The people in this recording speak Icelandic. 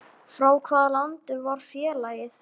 Frá hvaða landi var félagið?